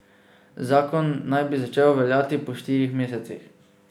Zakon naj bi začel veljati po štirih mesecih.